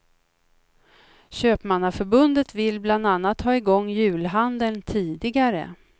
Köpmannaförbundet vill bland annat ha igång julhandeln tidigare.